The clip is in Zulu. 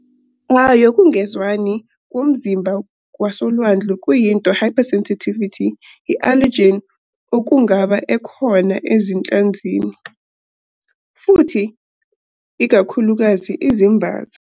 A yokungezwani komzimba kwasolwandle kuyinto hypersensitivity i allergen okungaba ekhona izinhlanzi, futhi ikakhulukazi izimbaza.